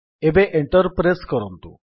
ଏବେ enter press କରନ୍ତୁ